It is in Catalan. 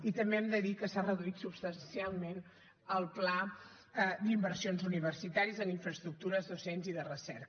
i també hem de dir que s’ha reduït substancialment el pla d’inversions universitàries en infraestructures docents i de recerca